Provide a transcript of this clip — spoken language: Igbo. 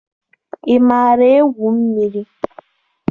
Ị maara egwu mmiri?